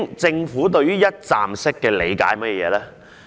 政府對於"一站式"的理解究竟是甚麼？